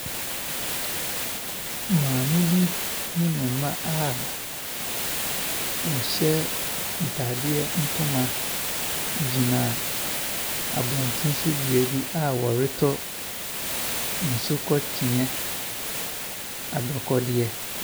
Maame bi ne mma a wɔhyɛ ntaadeɛ ntoma gyina abɔnten so bea bi a wɔretɔ nsukɔkyea adɔkɔeɛ.